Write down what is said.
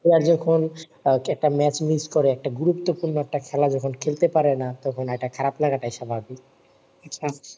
player যখন আহ একটা ম্যাচ miss করে একটা গুরুপ্ত পূর্ণ খেলা যখন খেলাতে পারে না তখন একটা খারাপ লাগা স্বাভাবিক